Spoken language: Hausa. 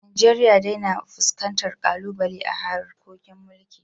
Najeriya dai na fuskantar ƙalubale a harkokin mulkin